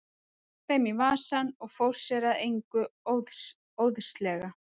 Hann stakk þeim í vasann og fór sér að engu óðslega.